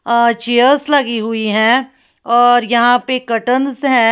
और चेयर्स लगी हुई है और यहां पे कर्टंस हैं।